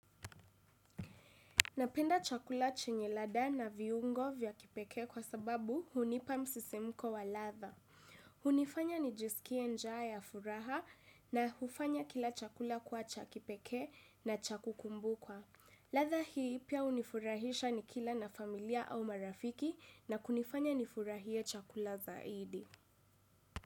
Napenda chakula chenye lada na viungo vya kipeke kwa sababu hunipa msisimuko wa ladha. Hunifanya nijisikie njaa ya furaha na hufanya kila chakula kuwa cha kipekee na cha kukumbukwa. Ladha hii pia unifurahisha nikila na familia au marafiki na kunifanya nifurahie chakula zaidi.